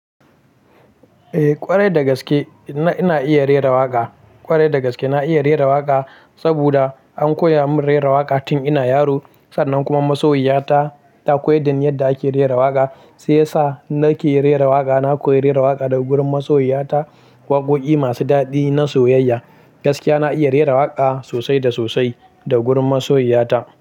Eh ƙwarai dagaske ina iya rera waƙa. Ƙwarai dagaske na iya rera waƙa saboda an koya min rera waƙa tun ina yaro sannan kuma masoyiya ta ta koyaddani yadda ake rera waƙa shiyasa nake rera waƙa. Na koyi rera waƙa daga gurin masoyiya ta waƙoƙi masu daɗi na soyayya. Gaskiya na iya rera waƙa sosai da sosai da gurin masoyiya ta.